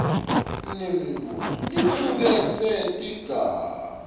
lemibuto licuketse tigaba